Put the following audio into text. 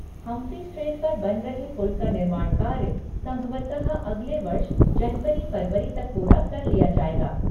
Humphrey strait पर बन रहे पुल का निर्माण कार्य संभवतः अगले वर्ष जनवरी फरवरी तक पूरा कर लिया जाएगा।